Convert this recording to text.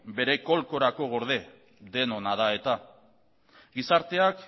bere golkorako gorde denona da eta gizarteak